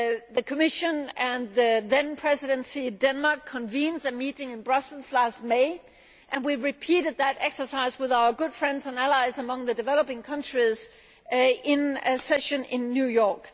The Commission and the then Presidency, Denmark, convened a meeting in Brussels last May and we repeated that exercise with our good friends and allies among the developing countries in a session in New York.